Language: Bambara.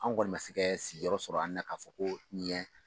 Anw kɔni ma se kɛ sigiyɔrɔ sɔrɔ an na, k'a fɔ ko ɲɛ